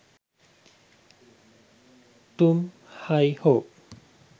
tum hi ho